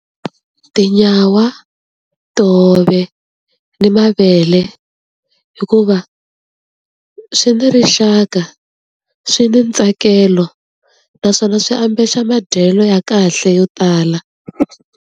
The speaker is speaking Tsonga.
Tinyawa, tihove ni mavele hikuva swi ni rixaka, swi ni ntsakelo naswona swi ambexa madyelo ya kahle yo tala.